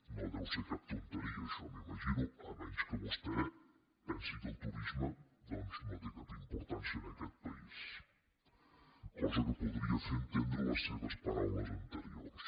no deu ser cap tonteria això m’imagino si no és que vostè pensa que el turisme doncs no té cap importància en aquest país cosa que podrien fer entendre les seves paraules anteriors